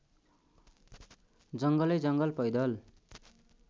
जङ्गलैजङ्गल पैदल